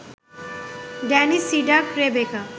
Danny সিডাক, Rebecca